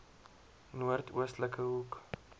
noord oostelike hoek